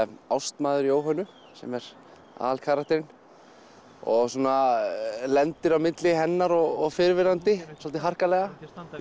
ástmaður Jóhönnu sem er aðalkarakterinn og svona lendir á milli hennar og fyrrverandi svolítið harkalega